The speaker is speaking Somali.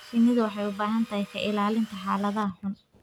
Shinnidu waxay u baahan tahay ka ilaalinta xaaladaha xun.